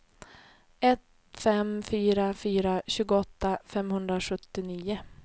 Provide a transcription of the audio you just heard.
ett fem fyra fyra tjugoåtta femhundrasjuttionio